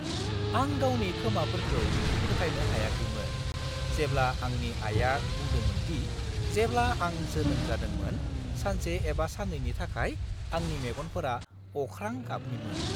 आं गावनि खोमाफोरखौ फोथायनो हायाखैमोन जेब्ला आंनि आइया बुंदोंमोन दि जेब्ला आं जोनोम जादोंमोन सानसे एबा सान्नैनि थाखाय आंनि मेगनफोरा अख्रां गाबनिमोन।